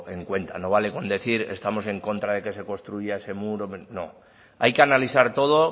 en cuenta no vale con decir estamos en contra de que se construya ese muro no hay que analizar todo